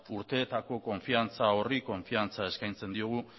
urteetako konfidantza horri konfidantza eskaintzen diogu